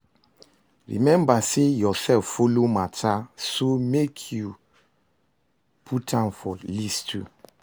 Remmba sey urself follow mata so mek yu put am for list too